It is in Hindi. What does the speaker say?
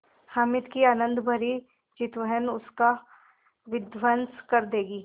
हामिद की आनंदभरी चितवन उसका विध्वंस कर देगी